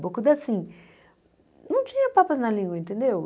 Bocuda, assim, não tinha papas na língua, entendeu?